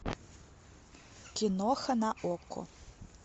киноха на окко